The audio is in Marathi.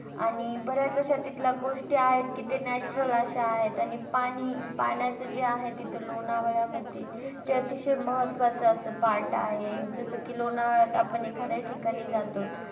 आणि बराच अश्या तिथल्या गोष्टी आहेत कि त्या natural अश्या आहेत आणि पाणी पाण्याचं जे आहे तीथं लोणावळ्यामधे ते अतिशय महत्वाचं असं part आहे जस कि लोणावळ्यात आपण एका ठिकाणी आपण जातो,